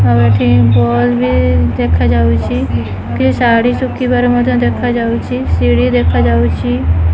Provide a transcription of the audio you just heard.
ଆଉ ଏଠି ବଲ୍ ବି ଦେଖାଯାଉଛି କିଛି ଶାଢ଼ୀ ଶୁଖିବାର ମଧ୍ୟ ଦେଖାଯାଉଛି ସିଡି ଦେଖାଯାଉଛି।